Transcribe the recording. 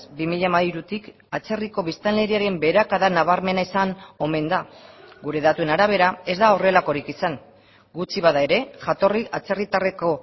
bi mila hamairutik atzerriko biztanleriaren beherakada nabarmena izan omen da gure datuen arabera ez da horrelakorik izan gutxi bada ere jatorri atzerritarreko